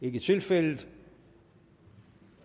ikke tilfældet